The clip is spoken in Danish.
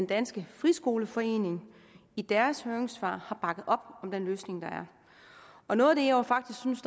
dansk friskoleforening i deres høringssvar har bakket op om den løsning der er og noget af det jeg faktisk synes